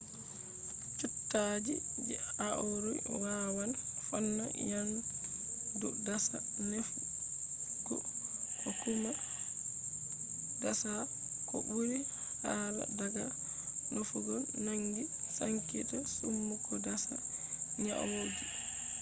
cuttaji je aure wawan fonna nyamdu dasa nefugo ko kuma dasa ko ɓuri hala daga nefugo nangi sankita summu ko dasa nyauji